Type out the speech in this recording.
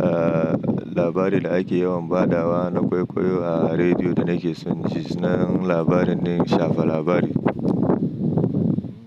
ah, labarin da ake yawan ba da wa na kwaikwayo a rediyo da nake son ji. San labarin ɗin shafa labari.